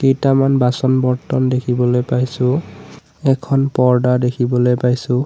কেইটামান বাচন বৰ্ত্তন দেখিবলৈ পাইছোঁ এখন পৰ্দা দেখিবলৈ পাইছোঁ।